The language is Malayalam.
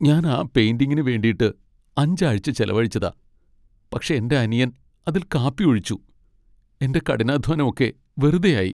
ഞാൻ ആ പെയിന്റിംഗിന് വേണ്ടീട്ട് അഞ്ച് ആഴ്ച ചെലവഴിച്ചതാ, പക്ഷേ എന്റെ അനിയൻ അതിൽ കാപ്പി ഒഴിച്ചു. എന്റെ കഠിനാധ്വാനം ഒക്കെ വെറുതെയായി.